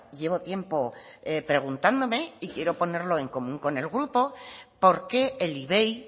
llevo tiempo preguntándome y quiero ponerlo en común con el grupo porque el ivei